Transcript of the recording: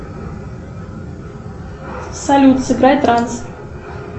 салют сыграй транс